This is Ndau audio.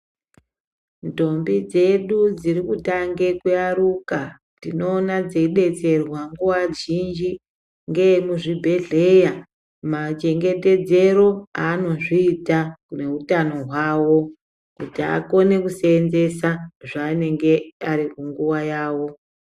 Ndombi dzedu dzirikutange kuyaruka tinoona dzeidetserwa nguva zhinji ngeekuzvibhehleya machengetedzero aanozviita neutano hwavo, kuti akone kuseenzesa zvaanenge ari kunguva yavo.